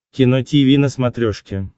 кино тиви на смотрешке